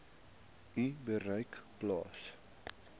u bereik plaas